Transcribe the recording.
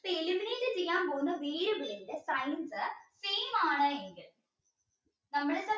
അപ്പോ eliminate ചെയ്യാൻ പോന്ന variable ന്റെ same ആണ് എങ്കിൽ